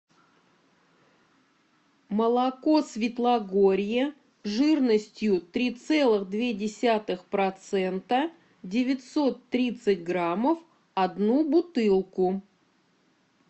молоко светлогорье жирностью три целых две десятых процента девятьсот тридцать граммов одну бутылку